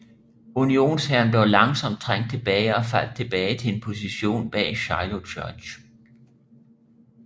Unionshæren blev langsomt trængt tilbage og faldt tilbage til en position bag Shiloh Church